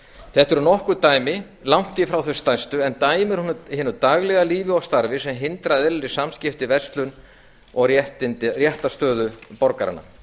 þetta eru nokkur dæmi langt í frá þau stærstu en dæmi úr hinu daglega lífi og starfi sem hindra eðlileg samskipti í verslun og réttarstöðu borgaranna